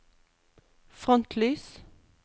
frontlys